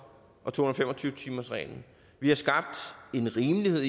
og to hundrede og fem og tyve timersreglen vi har skabt en rimelighed